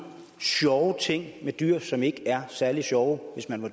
sjove ting med dyr som ikke er særlig sjove hvis man